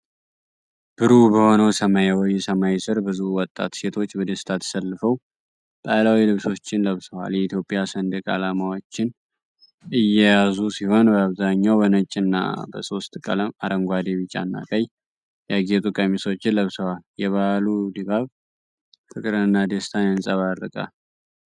ብሩህ በሆነው ሰማያዊ ሰማይ ሥር፣ ብዙ ወጣት ሴቶች በደስታ ተሰልፈው ባህላዊ ልብሶችን ለብሰዋል። የኢትዮጵያ ሰንደቅ ዓላማዎችን እየያዙ ሲሆን፣ በአብዛኛው በነጭ እና በሶስት ቀለም (አረንጓዴ፣ ቢጫ እና ቀይ) ያጌጡ ቀሚሶችን ለብሰዋል። የበዓሉ ድባብ ፍቅርንና ደስታን ያንጸባርቃል።